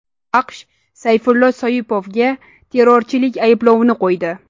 AQSh Sayfullo Soipovga terrorchilik ayblovini qo‘ydi.